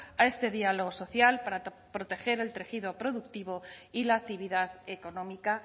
a este diálogo social para proteger el tejido productivo y la actividad económica